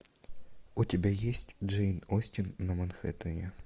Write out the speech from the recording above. у тебя есть джейн остин на манхэттене